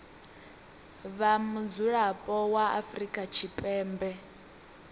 vha mudzulapo wa afrika tshipembe